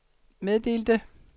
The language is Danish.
meddelte